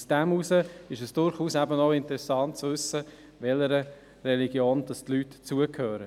Deshalb ist es durchaus interessant zu wissen, welcher Religion die Leute angehören.